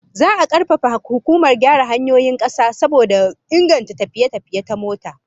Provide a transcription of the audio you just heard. Za'a karfafa hukumar gyara hanyoyin kasa saboda inganta tafiye-tafiye ta mota